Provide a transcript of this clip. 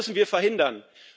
Das müssen wir verhindern.